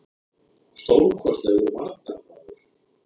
Stórkostlegur varnarmaður.